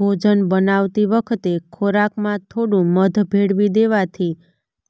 ભોજન બનાવતી વખતે ખોરાકમાં થોડું મધ ભેળવી દેવાથી